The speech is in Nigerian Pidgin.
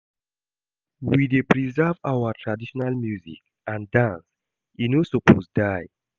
We dey preserve our traditional music and dance, e no suppose die.